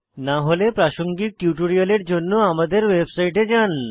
না হলে প্রাসঙ্গিক টিউটোরিয়ালের জন্য আমাদের ওয়েবসাইটে যান